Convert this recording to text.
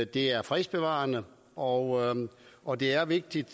det er fredsbevarende og og det er vigtigt